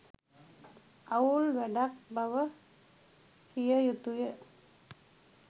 අවුල් වැඩක් බව කිය යුතුය.